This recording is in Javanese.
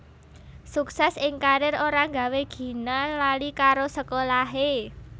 Suksès ing karier ora nggawé Gina lali karo sekolahé